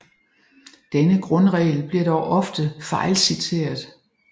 Denne grundregel bliver dog ofte fejlciteret